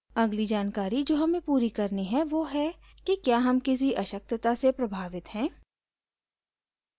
अगली जानकारी जो हमें पूरी करनी है वो है कि क्या हम किसी अशक्तता से प्रभावित हैं